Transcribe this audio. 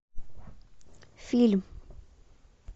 фильм